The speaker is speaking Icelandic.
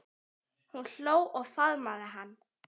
Hún hló og faðmaði hann.